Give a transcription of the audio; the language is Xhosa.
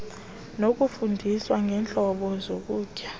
nokufundiswa ngeentlobo zokutya